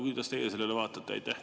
Kuidas teie sellele vaatate?